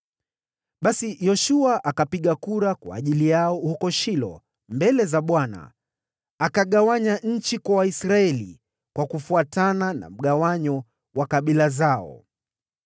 Basi Yoshua akawapigia kura huko Shilo mbele za Bwana , na hapo akagawanya ile nchi kwa Waisraeli kufuatana na mgawanyo wa kabila zao.